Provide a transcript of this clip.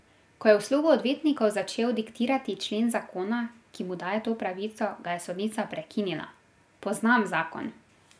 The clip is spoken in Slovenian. Ko je v slogu odvetnikov začel diktirati člen zakona, ki mu daje to pravico, ga je sodnica prekinila: 'Poznam zakon.